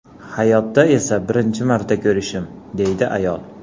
Hayotda esa birinchi marta ko‘rishim”, deydi ayol.